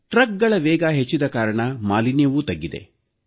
ಟ್ರಕ್ಗಳ ವೇಗ ಹೆಚ್ಚಿದ ಕಾರಣ ಮಾಲಿನ್ಯವೂ ತಗ್ಗಿದೆ